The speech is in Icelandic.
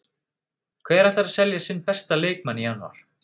Hver ætlar að selja sinn besta leikmann í janúar?